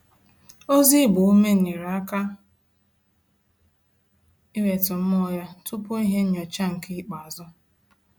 Ozi ịgba ume nyere aka iwetu mmụọ ya tupu ihe nnyocha nke ikpeazu